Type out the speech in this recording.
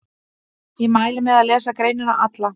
Ég mæli með að lesa greinina alla.